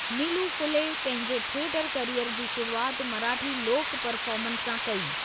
निलू फूले पंहिंजी theatre career जी शुरूआति मराठी लोक परफ़ार्मन्स सां कई।